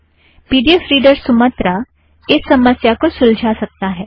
P D F reader Sumatra इस समस्या को सुलजा सकता है